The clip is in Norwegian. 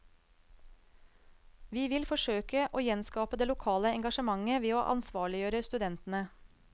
Vi vil forsøke å gjenskape det lokale engasjementet ved å ansvarliggjøre studentene.